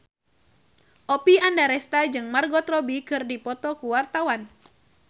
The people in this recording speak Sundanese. Oppie Andaresta jeung Margot Robbie keur dipoto ku wartawan